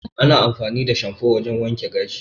Ana amfani da shanfo wajan wanke gashi